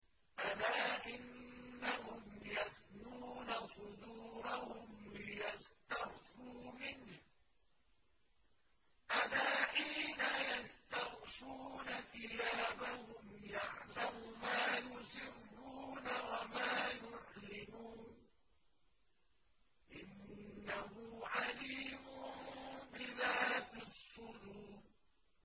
أَلَا إِنَّهُمْ يَثْنُونَ صُدُورَهُمْ لِيَسْتَخْفُوا مِنْهُ ۚ أَلَا حِينَ يَسْتَغْشُونَ ثِيَابَهُمْ يَعْلَمُ مَا يُسِرُّونَ وَمَا يُعْلِنُونَ ۚ إِنَّهُ عَلِيمٌ بِذَاتِ الصُّدُورِ